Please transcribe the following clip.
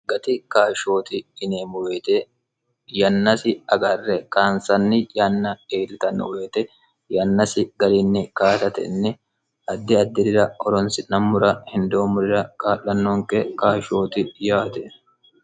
gati kaashshooti ineemmu boyite yannasi agarre kaansanni yanna eelitanno boyite yannasi galiinni kaatatenni haddi addi'rira horonsi'nammura hindoommurira kaa'lannoonke kaashshooti yaate